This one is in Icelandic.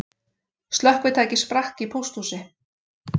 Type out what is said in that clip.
Slökkvitæki sprakk í pósthúsi